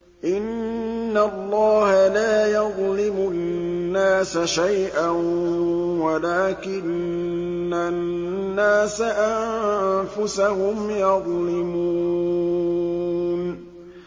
إِنَّ اللَّهَ لَا يَظْلِمُ النَّاسَ شَيْئًا وَلَٰكِنَّ النَّاسَ أَنفُسَهُمْ يَظْلِمُونَ